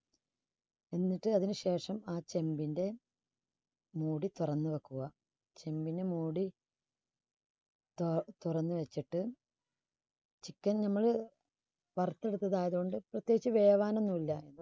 എന്നിട്ട് അതിനു ശേഷം ആ ചെമ്പിന്റെ മൂടി തുറന്നു വെക്കുക. ചെമ്പിന്റെ മൂടി തു~തുറന്ന് വെച്ചിട്ട് chicken നമ്മള് വറുത്തെടുത്തത് ആയതുകൊണ്ട് പ്രത്യേകിച്ച് വേവാനൊന്നും ഇല്ല.